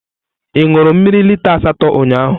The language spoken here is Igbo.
Ị ṅụrụ mmiri lita asatọ ụnyahụ?